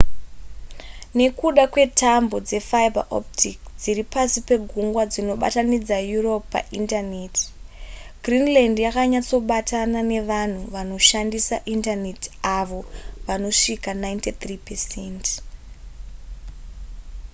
nekuda kwetambo dzefiber optic dziri pasi pegungwa dzinobatanidza europe paindaneti greenland yakanyatsobatana ne vanhu vanoshandisa indaneti avo vanosvika 93%